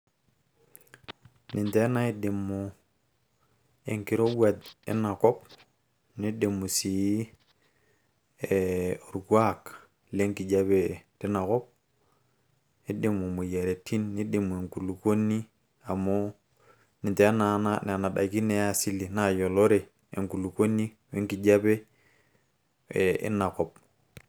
ninche naidimu enkirowuaj inakop nidimu sii orkuak lenkijape tinakop nidimu imoyiaritin nidimu enkulukuoni amu ninche nena daiki naa e asili nayiolore enkulukuoni wenkijape ee einakop.